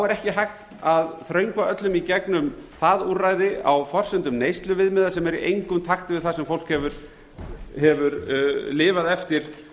er ekki hægt að þröngva öllum í gegnum það úrræði á forsendum neysluviðmiða sem eru í engum takt við það sem fólk hefur lifað eftir